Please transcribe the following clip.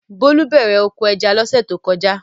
Bólú bẹ̀rẹ̀ oko ẹja lọ́sẹ̀ tó lọ.